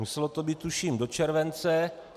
Muselo to být, tuším, do července.